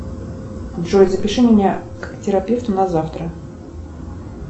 джой запиши меня к терапевту на завтра